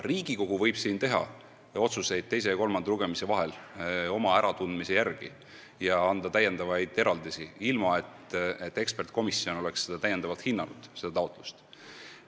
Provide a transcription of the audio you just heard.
Riigikogu võib eelarve teise ja kolmanda lugemise vahel mingeid otsuseid oma äratundmise järgi teha ja anda täiendavaid eraldisi, ilma et ekspertkomisjon oleks üht või teist taotlust täiendavalt hinnanud.